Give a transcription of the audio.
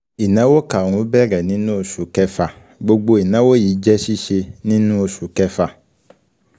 Ìnáwó kàrún-ún bẹ̀rẹ̀ nínú oṣù kẹfà gbogbo ìnáwó yìí jẹ́ síse nínú oṣù kẹfà.